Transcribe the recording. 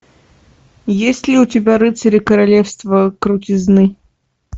есть ли у тебя рыцари королевства крутизны